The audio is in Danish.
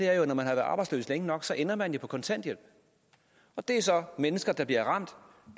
er jo at når man har været arbejdsløs længe nok ender man på kontanthjælp det er så mennesker der bliver ramt